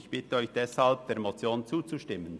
Ich bitte Sie deshalb, der Motion zuzustimmen.